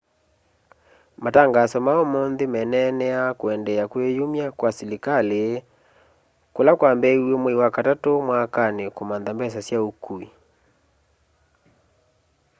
matangaso ma ũmũnthĩ meneneaa kũendeea kwĩyũmya kwa sĩlĩkalĩ kũla kwambĩĩwe mwaĩ wa katatũ mwakanĩ kũmantha mbesa sya ũkũĩ